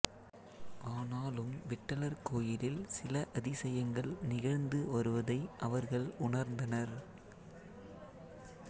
ஆனாலும் விட்டலர் கோயிலில் சில அதிசயங்கள் நிகழ்ந்து வருவதை அவர்கள் உணர்ந்தனர்